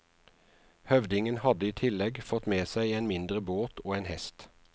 Høvdingen hadde i tillegg fått med seg en mindre båt og en hest.